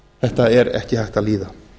þetta er ekki hægt að líða